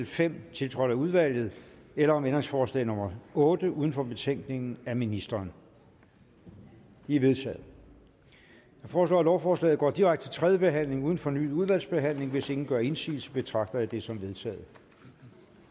fem tiltrådt af udvalget eller om ændringsforslag nummer otte uden for betænkningen af ministeren de er vedtaget jeg foreslår at lovforslaget går direkte til tredje behandling uden fornyet udvalgsbehandling hvis ingen gør indsigelse betragter jeg dette som vedtaget